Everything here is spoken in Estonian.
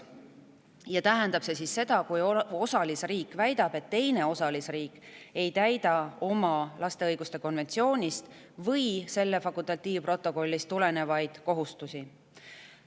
See tähendab seda, et kui üks osalisriik väidab, et teine osalisriik ei täida oma laste õiguste konventsioonist või selle fakultatiivprotokollist tulenevaid kohustusi.